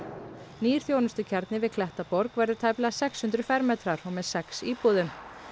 nýr þjónustukjarni við Klettaborg verður tæplega sex hundruð fermetrar og með sex íbúðum